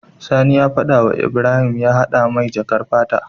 Sani ya fada wa Ibrahim ya hada mai jakar fata